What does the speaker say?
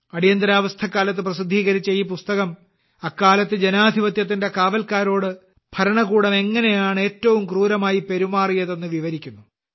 അടിയന്തരാവസ്ഥക്കാലത്ത് ജനാധിപത്യത്തിന്റെ കാവൽക്കാരോട് ഭരണകൂടം എങ്ങനെയാണ് ഏറ്റവും ക്രൂരമായി പെരുമാറിയതെന്ന് വിവരിക്കുന്നു